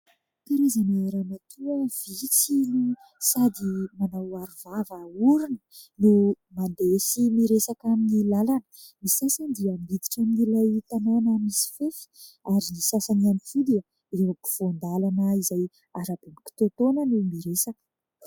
Karazana ramatoa vitsy no sady manao aro vava orona no mandeha sy miresaka amin'ny lalana. Ny sasany dia miditra amin'ilay tanàna misy fefy ary ny sasany ihany koa dia eo ampovoan-dalana izay arabe mikitoatoana no miresaka.